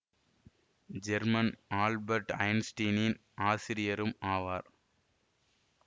Herman Albert ஐன்ஸ்டீனின் ஆசிரியரும் ஆவார்